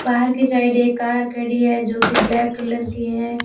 बाहर के साइड एक कार खड़ी है जो की ब्लैक कलर की है।